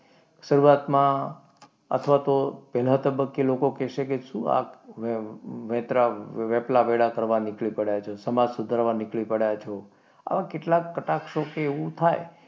શરૂઆતમાં અથવા તો પહેલા તબક્કે લોકો કહેશે કે શું આ વેપલા વેળા કરવા નીકળી પડ્યો છે? સમાજ સુધારવા નીકળી પડ્યા છો? આવા કેટલા કટાક્ષો કે એવું થાય,